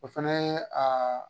O fɛnɛ ye